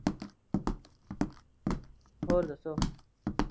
ਹੋਰ ਦੱਸੋ?